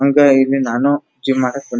ಹಂಗ ಇಲ್ಲಿ ನಾನು ಜಿಮ್ಮ್ ಮಾಡಾತೀನಿ.